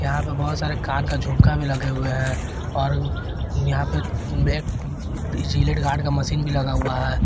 यहां पे बहुत सारे कान का झुमका भी लगे हुए हैं और यहां पे जिलेट गार्ड का मशीन भी लगा हुआ है।